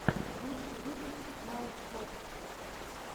лучший выпуск научпок